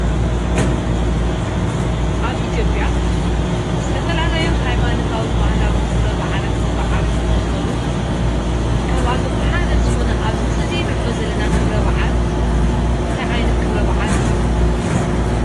አብ ኢትዮጲያ ዝተፈላለዩ ሃይማኖታውን ባህላውን ክብረ በዓላት ዝባዓሉ እንትኾኑ፤ ካብአቶም ሓደ ዝኾነ አብ እዚ ምስሊ እዚ ንሪኦ ዘለና ክብረ በዓል እንታይ ዓይነት ክብረ በዓል እዩ?